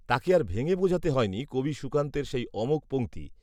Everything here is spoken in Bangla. তাকে আর ভেঙে বোঝাতে হয়নি কবি সুকান্তের সেই অমোঘ পঙক্তি